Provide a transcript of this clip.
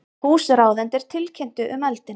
Húsráðendur tilkynntu um eldinn